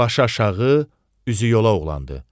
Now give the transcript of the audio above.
Baş-aşağı, üzü yola oğlandı.